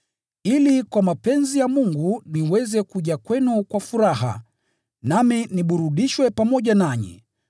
ili kwa mapenzi ya Mungu niweze kuja kwenu kwa furaha, nami niburudishwe pamoja nanyi.